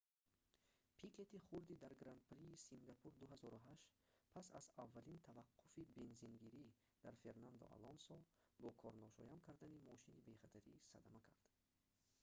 пикети хурдӣ дар гран-прии сингапур-2008 пас аз аввалин таваққуфи бензингирӣ дар фернандо алонсо бо корношоям кардани мошини бехатарӣ садама кард